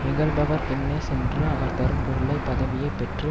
இகழுபவர் பின்னே சென்று அவர் தரும் பொருளை பதவியைப் பெற்று